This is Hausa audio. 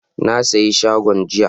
Na siya shagon jiya,